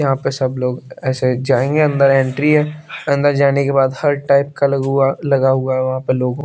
यहाँ पर सब लोग ऐसे जाएँगे अंदर एंट्री है अंदर जाने के बाद हर टाइप का लगा हुआ है लगा हुआ है वहाँ पर लोगो --